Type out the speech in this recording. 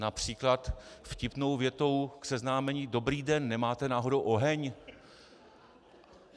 Například vtipnou větou k seznámení: dobrý den, nemáte náhodou oheň?